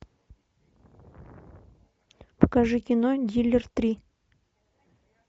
покажи кино диллер три